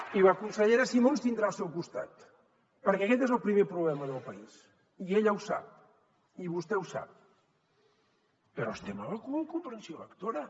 miri la consellera simó ens tindrà el seu costat perquè aquest és el primer problema del país i ella ho sap i vostè ho sap però estem a la cua en comprensió lectora